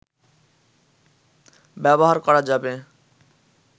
ব্যবহার করা যাবে